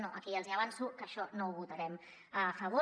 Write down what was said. no aquí ja els hi avanço que això no ho votarem a favor